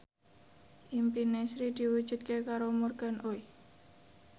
impine Sri diwujudke karo Morgan Oey